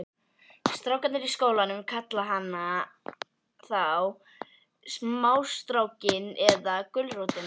Strákarnir í skólanum kalla hana þá smástrákinn eða gulrótina.